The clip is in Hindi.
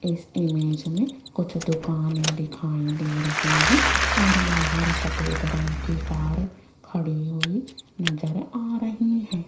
इस इमेज में कुछ दुकाने दिखाई दे रही है और बाहर सफेद रंग की कार खड़ी हुई नजर आ रही है।